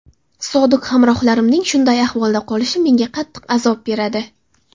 Sodiq hamrohlarimning shunday ahvolda qolishi menga qattiq azob beradi.